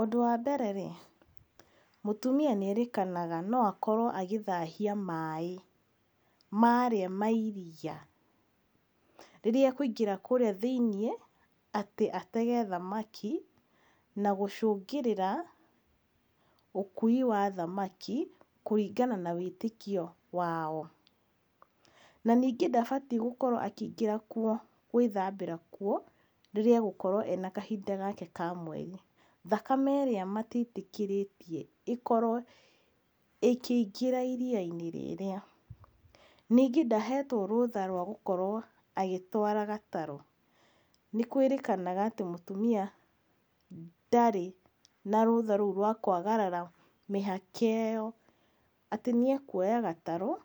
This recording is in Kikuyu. ũndũ wa mbere-rĩ mũtumia nĩ erĩkanaga no akorwo agĩthahia maaĩ marĩa ma iria, rĩrĩa ekũingĩra kũrĩa thĩ-inĩ atĩ atege thamaki na gũcũngĩrĩra ũkui wa thamaki kũringana na wĩtĩkio wao. na ningĩ nda batiĩ gũkorwo akĩingĩra kuo gwĩthambĩra kuo rĩrĩa agũkorwo ena na kahinda gake ka mweri ,thakame ĩrĩa matiĩtĩkĩrĩtie ĩkorwo ĩkĩingĩra iria-inĩ rĩrĩa ningĩ ndahetwo rũtha rwa gũkorwo agĩtwara gatarũ, nĩ kwĩrĩkanaga atĩ mũtumia ndarĩ na rũtha rũu rwa kwagarara mĩhaka ĩyo atĩ nĩ ekuoya gatarũ